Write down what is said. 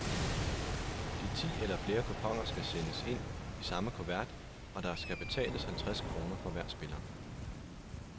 De ti eller flere kuponer skal sendes ind i samme kuvert, og der skal betales halvtreds kroner for hver spiller.